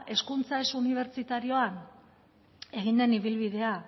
hezkuntza ez unibertsitarioan egin den ibilbidea